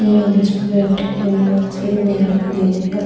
जिसपे अटकी हुई वो सीडी आप देख रहे है